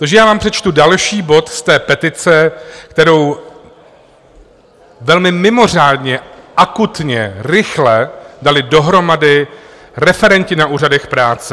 Takže já vám přečtu další bod z té petice, kterou velmi mimořádně akutně, rychle dali dohromady referenti na úřadech práce.